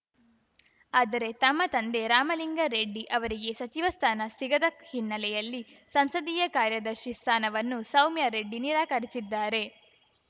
ಆದರೆ ತಮ್ಮ ತಂದೆ ರಾಮಲಿಂಗಾರೆಡ್ಡಿ ಅವರಿಗೆ ಸಚಿವ ಸ್ಥಾನ ಸಿಗದ ಹಿನ್ನೆಲೆಯಲ್ಲಿ ಸಂಸದೀಯ ಕಾರ್ಯದರ್ಶಿ ಸ್ಥಾನವನ್ನು ಸೌಮ್ಯಾರೆಡ್ಡಿ ನಿರಾಕರಿಸಿದ್ದಾರೆ